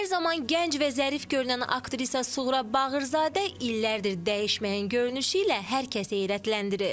Hər zaman gənc və zərif görünən aktrisa Suğra Bağırzadə illərdir dəyişməyən görünüşü ilə hər kəsi heyrətləndirir.